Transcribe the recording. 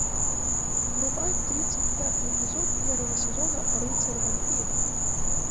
врубай тридцать пятый эпизод первого сезона рыцарь вампир